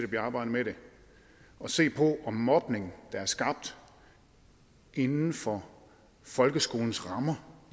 bliver arbejdet med det at se på mobning der er skabt inden for folkeskolens rammer